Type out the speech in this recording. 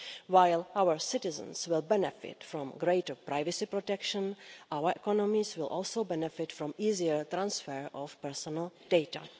While our citizens will benefit from greater privacy protection, our economies will also benefit from easier transfer of personal data.